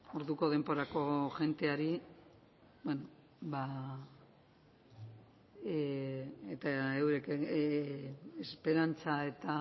orduko denborako jendeari eta eurek esperantza eta